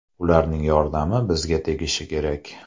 Ularning yordami bizga tegishi kerak.